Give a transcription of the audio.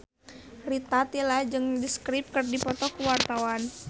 Rita Tila jeung The Script keur dipoto ku wartawan